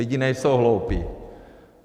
Lidi nejsou hloupí.